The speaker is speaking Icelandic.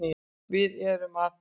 Við erum að